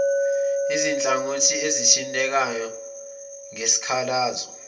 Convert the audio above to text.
izinhlangothi ezithintekayo ngesikhalazo